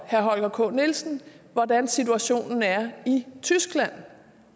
holger k nielsen hvordan situationen er i tyskland